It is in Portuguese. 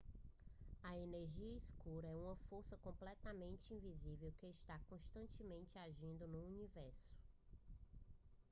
a energia escura é uma força completamente invisível que está constantemente agindo no universo